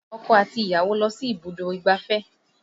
Ọkọ àti ìyàwó lọ sí ibùdó ìgbáfẹ́